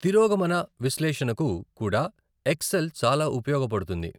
తిరోగమన విశ్లేషణకు కూడా ఎక్సెల్ చాలా ఉపయోగపడుతుంది.